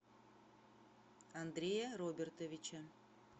андрея робертовича